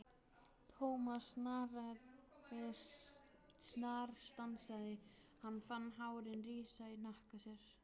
Thomas snarstansaði, hann fann hárin rísa í hnakka sér.